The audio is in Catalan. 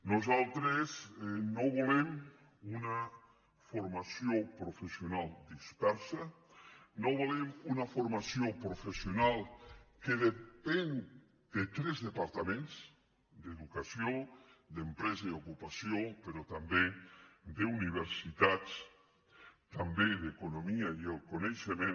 nosaltres no volem una formació professional dispersa no volem una formació professional que depengui de tres departaments d’educació d’empresa i ocupació però també d’universitats també d’economia i el coneixement